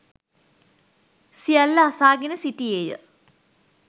සියල්ල අසාගෙන සිටියේ ය.